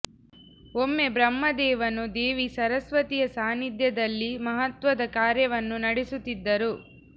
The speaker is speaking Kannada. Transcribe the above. ಒಮ್ಮೆ ಬ್ರಹ್ಮ ದೇವನು ದೇವಿ ಸರಸ್ವತಿಯ ಸಾನಿಧ್ಯದಲ್ಲಿ ಮಹತ್ವದ ಕಾರ್ಯವನ್ನು ನಡೆಸುತ್ತಿದ್ದರು